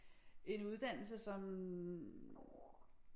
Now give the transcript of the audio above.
En uddannelse som